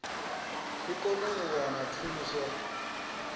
i kone u wana thuso